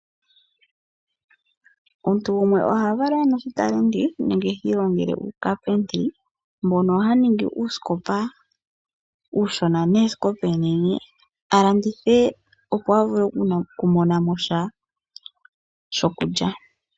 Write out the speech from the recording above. Omuntu gumwe oha valwa e na oshitalenti, nenge hi ilongele uuCapentry, mbono haningi uusikopa uushona, neesikopa oonene, a landithe opo a vule okumona mo sha shokulya.